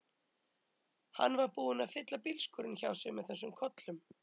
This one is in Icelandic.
Hann var búinn að fylla bílskúrinn hjá sér með þessum kollum.